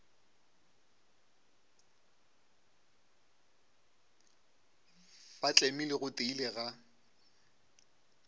ba tlemile go tiile ga